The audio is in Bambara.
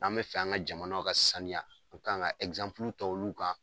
N'an bɛ fɛ an ka jamanaw ka sanuya an ka kan ka ta olu ka.